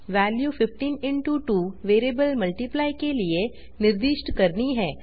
value 15 2 variable multiply के लिए निर्दिष्ट करनी है